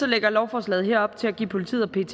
lægger lovforslaget her op til at give politiet og pet